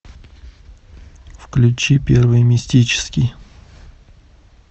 включи первый мистический